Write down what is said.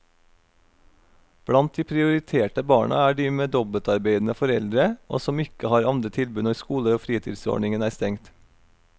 Blant de prioriterte barna er de med dobbeltarbeidende foreldre, og som ikke har andre tilbud når skolefritidsordningen er stengt.